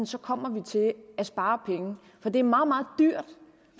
så kommer vi til at spare penge for det er meget meget dyrt